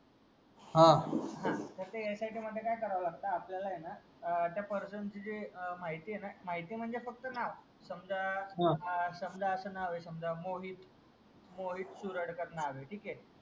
हा तर ते एसआयटी मध्ये काय करावा लागत आपल्याला ए ना त्या पर्सन ची जी माहिती ए ना माहिती म्हणजे फक्त नाव समजा हा समजा असं नाव ए मोहित मोहित सुराडकर नाव ए ठीक ए